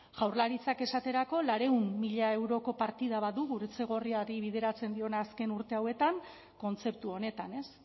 jaurlaritzak esaterako laurehun mila euroko partida bat du gurutze gorriari bideratzen diona azken urte hauetan kontzeptu honetan ez